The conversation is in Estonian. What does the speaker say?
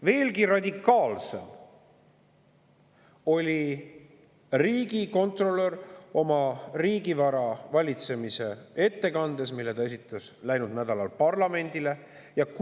Veelgi radikaalsem oli riigikontrolör riigivara valitsemise kohta tehtud ettekandes, mille ta läinud nädalal parlamendile esitas.